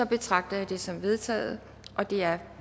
betragter jeg dette som vedtaget det er